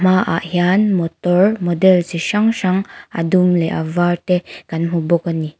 hmaah hian motor model chi hrang hrang a dum leh a var te kan hmu bawk a ni.